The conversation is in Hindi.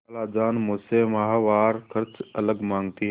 खालाजान मुझसे माहवार खर्च अलग माँगती हैं